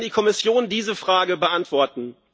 Vielleicht kann die Kommission diese Frage beantworten.